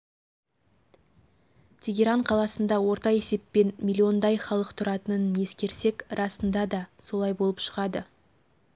тегеран қаласында орта есеппен миллиондай халық тұратынын ескерсек расында да солай болып шығады